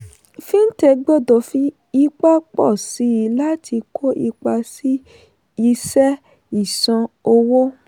fintech gbọdọ̀ fi ipa pọ̀ síi láti kó ipa sí isẹ́ ìsan owó.